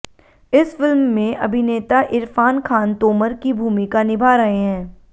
इस फिल्म में अभिनेता इरफान खान तोमर की भूमिका निभा रहे हैं